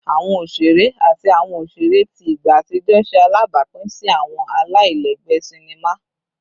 Awọn oṣere ati awọn oṣere ti igba atijọ ṣe alabapin si awọn alailẹgbẹ sinima